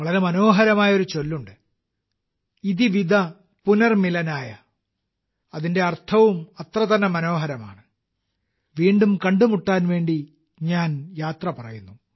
വളരെ മനോഹരമായ ഒരു ചൊല്ലുണ്ട് - 'ഇതി വിദ പുനർമിലനായ' അതിന്റെ അർത്ഥവും അത്രതന്നെ മനോഹരമാണ് വീണ്ടും കണ്ടുമുട്ടാൻ വേണ്ടി ഞാൻ യാത്ര പറയുന്നു